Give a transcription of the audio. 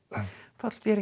Páll